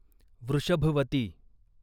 Vrishabhavati